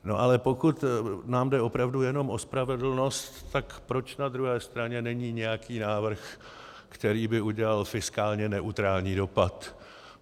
Ale pokud nám jde opravdu jenom o spravedlnost, tak proč na druhé straně není nějaký návrh, který by udělal fiskálně neutrální dopad?